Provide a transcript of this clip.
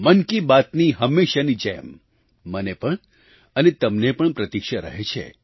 મન કી બાતની હંમેશાંની જેમ મને પણ અને તમને પણ પ્રતીક્ષા રહે છે